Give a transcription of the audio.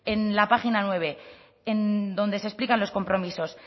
en la página nueve en donde se explican los compromisos